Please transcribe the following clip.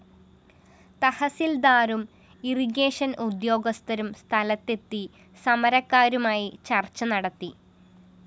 തഹസില്‍ദാരും irrigation ഉദ്യോഗസ്ഥരും സ്ഥലത്തെത്തി സമരക്കാരുമായി ചര്‍ച്ച നടത്തി